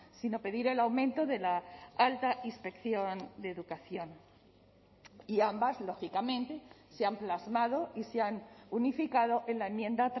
sino pedir el aumento de la alta inspección de educación y ambas lógicamente se han plasmado y se han unificado en la enmienda